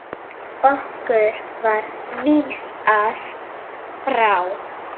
Okkur var vísað frá.